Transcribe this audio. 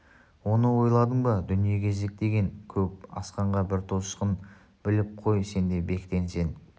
оны ойладың ба дүние кезек деген көп асқанға бір тосқын біліп қой сен де бектен сен